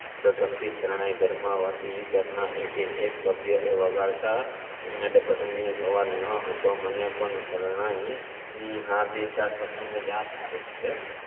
પ્રથમ થી શરણાઈ ઘરમાં હતી ઘરના એકે એક સભ્યએ વગાડતાં ના એટલે પસંદગી નો સવાલ ન હતો મને પણ શરણાઇ ને આ બેચાર પ્રસંગો યાદ આવે છે